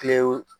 Kilew